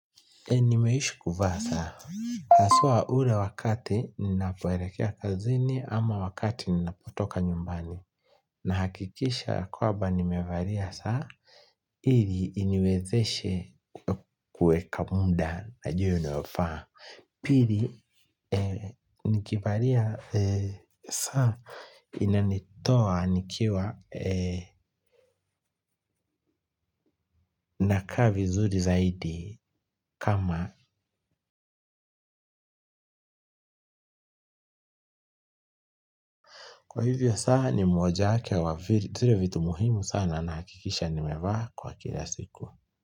Nimeishi kuvaa saa haswa ule wakati ninapoelekea kazini ama wakati ninapotoka nyumbani. Nahakikisha ya kwaba nimevalia saa, ili iniwezeshe kueka mda na jia inayofaa. Pili nikivalia saa inanitoa nikiwa, nakaa vizuri zaidi kama, kwa hivyo saa ni mojawake wa vitu, vitu muhimu sana nahakikisha nimevaa kwa kila siku.